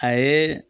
A ye